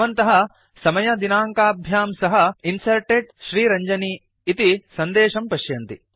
भवन्तः समयदिनाङ्काभ्यां सह Inserted श्रीरञ्जनी इति सन्देशं पश्यन्ति